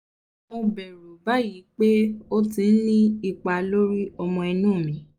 mo bẹ̀rù báyìí pé ó ti ní ipa lórí ọmọ inú mi